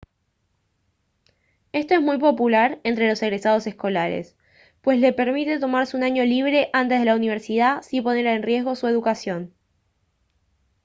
esto es muy popular entre los egresados escolares pues les permite tomarse un año libre antes de la universidad sin poner en riesgo su educación